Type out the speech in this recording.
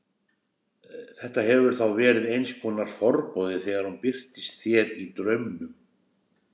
Þetta hefur þá verið eins konar forboði þegar hún birtist þér í draumnum?